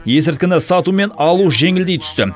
есірткіні сату мен алу жеңілдей түсті